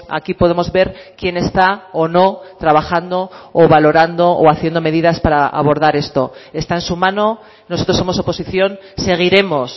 aquí podemos ver quién está o no trabajando o valorando o haciendo medidas para abordar esto está en su mano nosotros somos oposición seguiremos